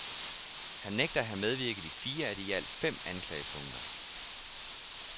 Han nægter at have medvirket i fire af de i alt fem anklagepunkter.